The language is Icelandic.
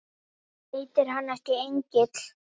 Heitir hann ekki Engill?